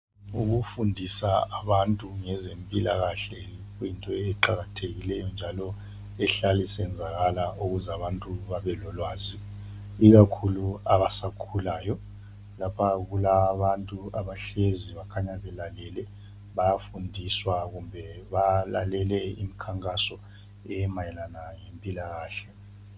Ukufundisa abantu ngezempilakahle kuyinto eqakathekileyo njalo ehlala isenzakala eyenza abantu babe lolwazi ikakhulu abasakhulalayo lapha kulabantu abahlezi bekhanya belalele bayafundiswa kumbe balalele imikhankaso emayelana lempilakahle